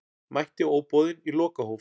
Mætti óboðinn í lokahóf